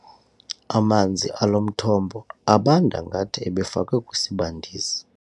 Amanzi alo mthombo abanda ngathi ebefakwe kwisibandisi.